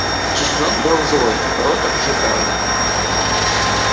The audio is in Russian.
чеснок был злой рот обжигало